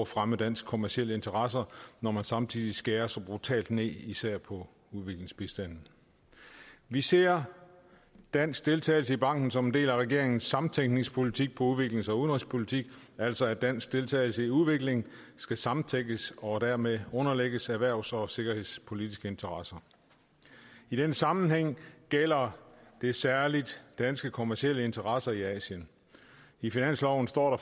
fremme danske kommercielle interesser når man samtidig skærer så brutalt ned især på udviklingsbistanden vi ser dansk deltagelse i banken som en del af regeringens samtænkningspolitik på udviklings og udenrigspolitikken altså at dansk deltagelse i udvikling skal samtænkes og dermed underlægges erhvervs og sikkerhedspolitiske interesser i den sammenhæng gælder det særlig danske kommercielle interesser i asien i finansloven står